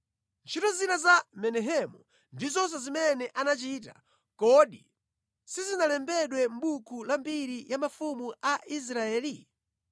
Ntchito zina za Menahemu ndi zonse zimene anachita, kodi sizinalembedwe mʼbuku la mbiri ya mafumu a Israeli?